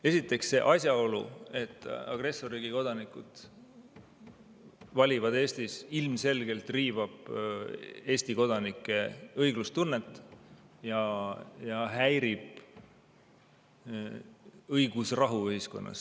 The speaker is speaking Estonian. Esiteks, see asjaolu, et agressorriigi kodanikud valivad Eestis, ilmselgelt riivab Eesti kodanike õiglustunnet ja häirib õigusrahu ühiskonnas.